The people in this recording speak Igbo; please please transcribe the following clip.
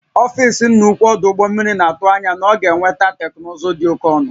Ọfịs nna ukwu ọdụ ụgbọ mmiri na-atụ anya na ọ ga-enweta teknụzụ dị oke ọnụ